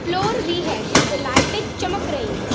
Floor भी है जिसपे लाइटें चमक रहीं हैं।